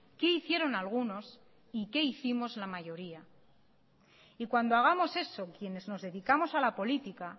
qué hicieron algunos y qué hicimos la mayoría y cuando hagamos eso quienes nos dedicamos a la política